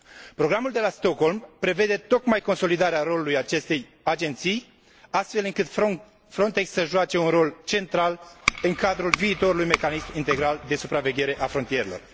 Programul de la Stockholm prevede tocmai consolidarea rolului acestei agenții, astfel încât Frontex să joace un rol central în cadrul viitorului mecanism integral de supraveghere a frontierelor.